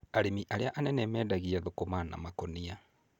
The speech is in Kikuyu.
Arĩmi arĩa a nene mendagia thũkũma na makũnia.